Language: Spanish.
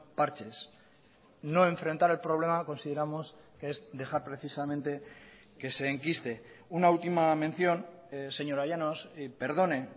parches no enfrentar el problema consideramos que es dejar precisamente que se enquiste una última mención señora llanos perdone